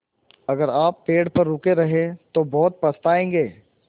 अगर आप पेड़ पर रुके रहे तो बहुत पछताएँगे